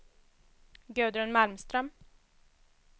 Gudrun Malmström